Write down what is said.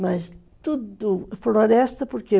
Mas tudo... Floresta por quê?